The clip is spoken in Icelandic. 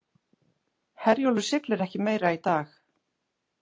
Herjólfur siglir ekki meira í dag